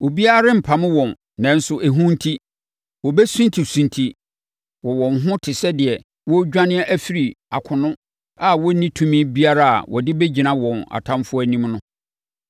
Obiara rempamo wɔn nanso ehu enti, wɔbɛsuntisunti wɔn ho wɔn ho te sɛ deɛ wɔredwane afiri akono a wɔnni tumi biara a wɔde bɛgyina wɔn atamfoɔ anim no.